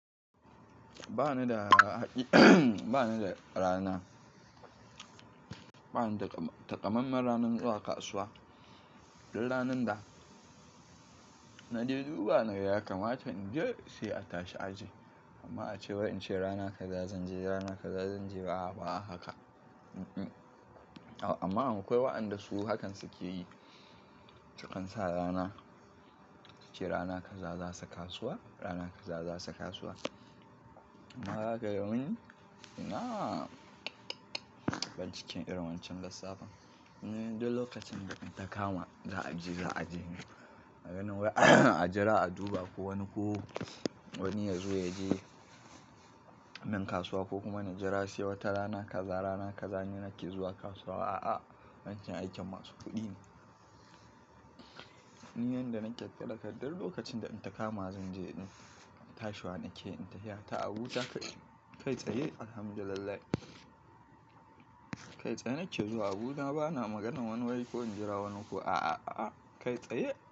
Ba ni da haƙi, ba ni da rana. Ba ni da tam-- takammanmen ranar zuwa kasuwa. Dun ranan da na je duba na ga yakamata in je sai a tashi aje. Amma a ce wai in ce rana kaza zan je, rana kaza zan je, a'a ba a haka. Ummm. Amma akwai waɗanda su hakansu ke yi. Sukan sa rana, su ce rana kaza za su kasuwa, rana kaza za su kasuwa. Nayi haka domin ina banciken irin wancan lissafin. Ni dai lokacin da in ta kama za a je, za a je. Maganar wai a jira a duba ko wani ko wani ya zo ya je min kasuwa ko kuma na jira sai wata rana kaza, rana kaza ni nake zuwa kasuwa. A'a, wancan aikin masu kuɗi ne. Ni yanda naƙe talaka ɗun lokacin da in ta kama zan je din tashi wa nake in tahi. Ya ta Abuja kai tsaye alhamdulillahi. Kai tsaye nake zuwa Abuja. Ba na maganan wani wai ko in jira wani ko a. A'a, a'a, kai tsaye.